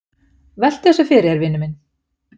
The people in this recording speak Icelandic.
"""Veltu þessu fyrir þér, vinur minn."""